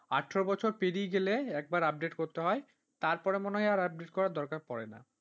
আঠেরো বছর পেরিয়ে গেলে একবার update করতে হয় তারপরে মনে হয় update করার দরকার পড়ে না।